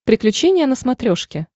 приключения на смотрешке